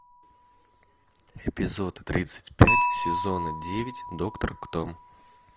эпизод тридцать пять сезона девять доктор кто